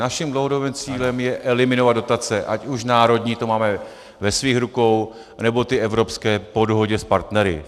Naším dlouhodobým cílem je eliminovat dotace, ať už národní, to máme ve svých rukou, anebo ty evropské po dohodě s partnery.